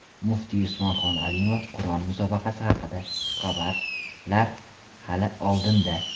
Muftiy Usmonxon Alimov Qur’on musobaqasi haqida: Xushxabarlar hali oldinda.